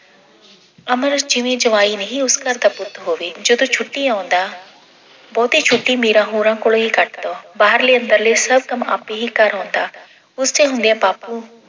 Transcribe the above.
ਅਮਰ ਜਿਵੇਂ ਜਵਾਈ ਨਹੀਂ ਉਸ ਘਰ ਦਾ ਪੁੱਤ ਹੋਵੇ ਜਦੋਂ ਛੁੱਟੀ ਆਉਂਦਾ ਬਹੁਤੀ ਛੁੱਟੀ ਮੀਰਾ ਹੋਰਾਂ ਕੋਲੇ ਹੀ ਕੱਟਦਾ। ਬਾਹਰਲੇ ਅੰਦਰਲੇ ਸਭ ਕੰਮ ਆਪੇ ਹੀ ਕਰ ਆਉਂਦਾ। ਉਸਦੇ ਹੁੰਦਿਆਂ ਬਾਪੂ